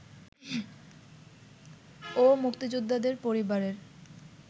ও মুক্তিযোদ্ধাদের পরিবারের